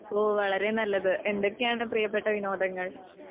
ഓ , വളരെ നല്ലത്. എന്തൊക്കെയാണ് പ്രിയപ്പെട്ട വിനോദങ്ങൾ?